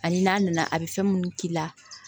Ani n'a nana a bɛ fɛn minnu k'i la